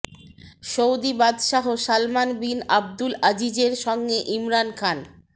Saudi বাদশাহ Salman bin Abdul আজিজের সঙ্গে ইমরান খান